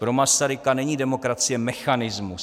Pro Masaryka není demokracie mechanismus.